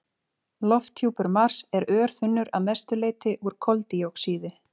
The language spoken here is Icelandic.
Lofthjúpur Mars er örþunnur og að mestu leyti úr koldíoxíði.